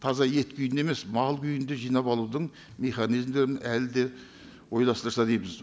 таза ет күйінде емес мал күйінде жинап алудың механизмдерін әлі де ойластырса дейміз